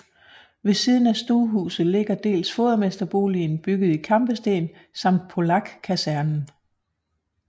Ved siden af stuehuset ligger dels fodermesterboligen bygget i kampesten samt Polakkasernen